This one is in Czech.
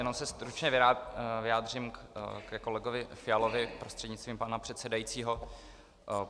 Jenom se stručně vyjádřím ke kolegovi Fialovi prostřednictvím pana předsedajícího.